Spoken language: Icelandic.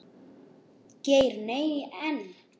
Geir Nei, en.